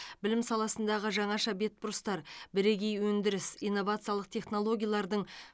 білім саласындағы жаңаша бетбұрыстар бірегей өндіріс инновациялық технологиялардың